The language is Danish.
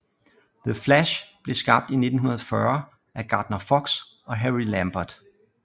The Flash blev skabt i 1940 af Gardner Fox og Harry Lampert